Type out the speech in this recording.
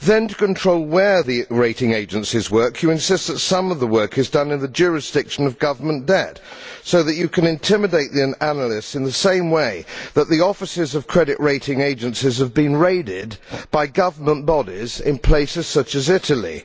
Then, to control where the rating agencies work, you insist that some of the work is done in the jurisdiction of government debt so that you can intimidate the analysts in the same way that the offices of credit rating agencies have been raided by government bodies in places such as Italy.